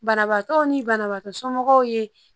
Banabaatɔw ni banabaatɔ somɔgɔw ye